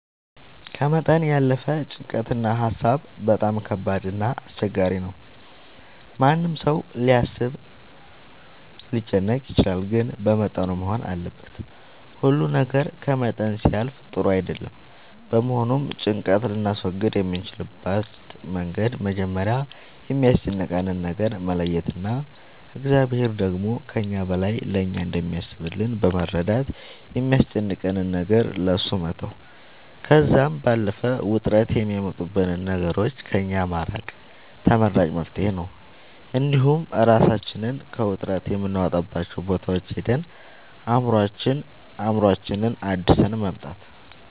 ከመጠን ያለፈ ጭንቀት እና ሀሳብ በጣም ከባድ እና አስቸጋሪ ነው ማንም ሰው ሊያስብ ሊጨነቅ ይችላል ግን በመጠኑ መሆን አለበት ሁሉ ነገር ከመጠን ሲያልፍ ጥሩ አይደለም በመሆኑም ጭንቀት ልናስወግድ የምንችልበት መንገድ መጀመሪያ የሚያስጨንቀንን ነገር መለየት እና እግዚአብሔር ደግሞ ከእኛ በላይ ለእኛ እንደሚያስብልን በመረዳት የሚያስጨንቀንን ነገር ለእሱ መተው ከዛም ባለፈ ውጥረት የሚያመጡብንን ነገሮች ከእኛ ማራቅ ተመራጭ መፍትሄ ነው እንዲሁም እራሳችንን ከውጥረት የምናወጣባቸው ቦታዎች ሄደን አእምሮአችንን አድሰን መምጣት